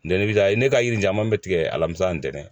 n'i bi taa ne ka yiri in caman bɛ tigɛ alamisa ntɛnɛn.